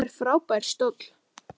Þetta er frábær stóll.